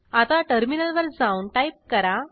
आता टर्मिनलवर जाऊन टाईप करा